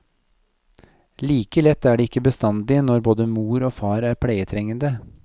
Like lett er det ikke bestandig når både mor og far er pleietrengende.